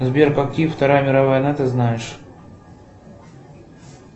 сбер какие вторая мировая война ты знаешь